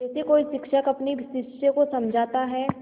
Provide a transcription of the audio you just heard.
जैसे कोई शिक्षक अपने शिष्य को समझाता है